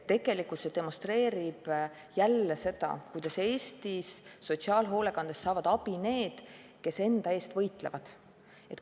See demonstreerib tegelikult jälle seda, kuidas Eesti sotsiaalhoolekandes saavad abi need, kes enda eest võitlevad.